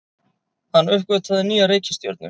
Hann uppgötvaði nýja reikistjörnu!